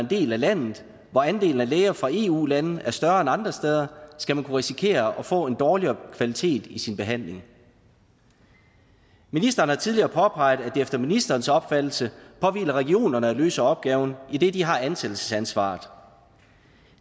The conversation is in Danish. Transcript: del af landet hvor andelen af læger fra eu lande er større end andre steder skal man kunne risikere at få en dårligere kvalitet i sin behandling ministeren har tidligere påpeget at det efter ministerens opfattelse påhviler regionerne at løse opgaven idet de har ansættelsesansvaret